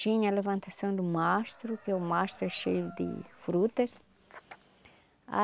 Tinha a levantação do mastro, que o mastro é cheio de frutas a